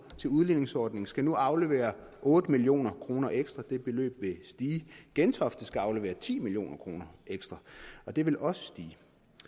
til udligningsordningen skal nu aflevere otte million kroner ekstra og det beløb vil stige gentofte skal aflevere ti million kroner ekstra og det vil også stige